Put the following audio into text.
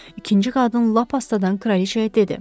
İkinci qadın lap astadan kraliçaya dedi.